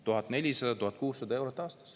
1400–1600 eurot aastas.